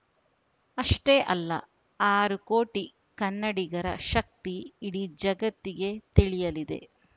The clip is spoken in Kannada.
ಅಷ್ಟೇ ಅಲ್ಲ ಆರು ಕೋಟಿ ಕನ್ನಡಿಗರ ಶಕ್ತಿ ಇಡೀ ಜಗತ್ತಿಗೆ ತಿಳಿಯಲಿದೆ